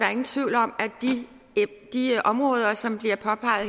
er ingen tvivl om at de områder som bliver påpeget